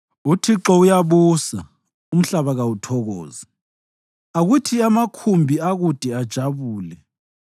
UThixo uyabusa, umhlaba kawuthokoze; akuthi amakhumbi akude ajabule.